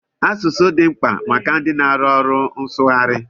Asụsụ dị mkpa maka ndị na-arụ ọrụ nsụgharị.